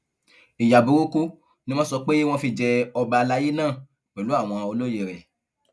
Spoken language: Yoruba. ìyá burúkú ni wọn sọ pé wọn fi jẹ ọba àlàyé náà pẹlú àwọn olóye rẹ